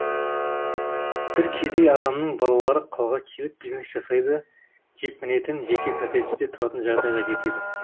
бір кедей адамның балалары қалаға келіп бизнес жасайды да джип мінетін жеке коттеджде тұратын жағдайға жетеді